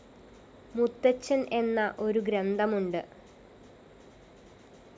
മുത്തച്ഛന്‍ എന്ന ഒരു ഗ്രന്ഥമുണ്ട്